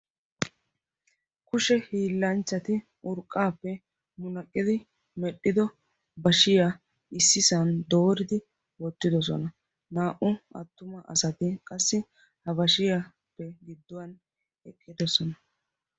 Kushe hiillanchchati urqqaappe munaqqqidi medhdhido bashiya issisan dooridi wottidosona. Naa"u attuma asati qassi ha bashiyappe gidduwan eqqidosona.